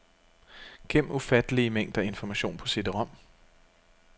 Gem ufattelige mængder information på cd-rom.